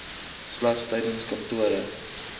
slegs tydens kantoorure